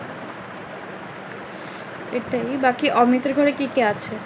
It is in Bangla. Literally বাকি অমিত আর ঘরে কে কে আছে?